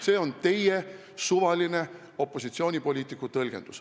See on teie kui opositsioonipoliitiku suvaline tõlgendus.